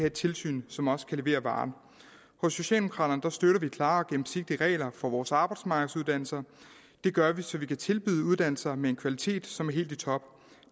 et tilsyn som også kan levere varen hos socialdemokraterne støtter vi klare og gennemsigtige regler for vores arbejdsmarkedsuddannelser det gør vi så vi kan tilbyde uddannelser med en kvalitet som er helt i top